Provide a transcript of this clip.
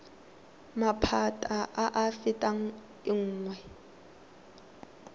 maphata a a fetang nngwe